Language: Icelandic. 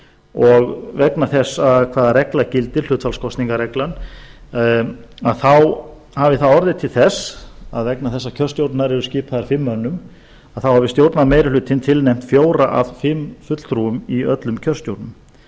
og vegna þess hvaða regla gildir hlutfallskosningareglan að þá hafi það orðið til þess vegna þess að kjörstjórnirnar eru skipaðar fimm mönnum að þá hafi stjórnarmeirihlutinn tilnefnt fjóra af fimm fulltrúum í öllum kjörstjórnum